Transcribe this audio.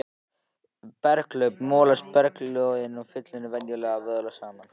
Við berghlaup molast berglögin í fyllunni venjulega og vöðlast saman.